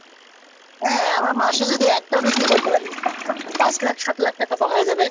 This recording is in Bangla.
হ্যাঁ আমার মাসে যদি একটা বিক্রি করতে পারি তাহলে পাঁচ লাখ সাত লাখ টাকা হয়ে যাবে